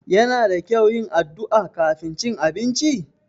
Yana da kyau yin addu'a kafin cin abinci?